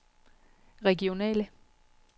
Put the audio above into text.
regionale